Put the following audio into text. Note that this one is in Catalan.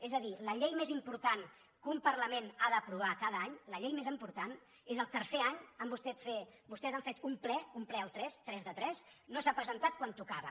és a dir la llei més important que un parlament ha d’aprovar cada any la llei més important és el tercer any vostès han fet un ple al tres tres de tres que no s’ha presentat quan tocava